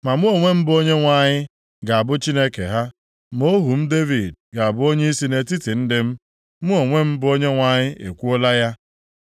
Ma mụ onwe m bụ Onyenwe anyị, ga-abụ Chineke ha, ma ohu m Devid ga-abụ onyeisi nʼetiti ndị m. Mụ onwe m bụ Onyenwe anyị ekwuola ya.